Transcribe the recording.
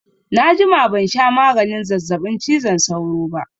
Na jima ban sha maganin zazzaɓin cizon sauro ba